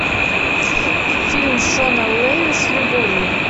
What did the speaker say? фильм шона леви с любовью